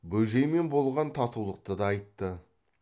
бөжеймен болған татулықты да айтты